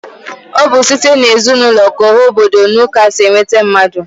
Ọ bụ site n'ezinụlọ k'ọha obodo na ụka si enweta mmadụ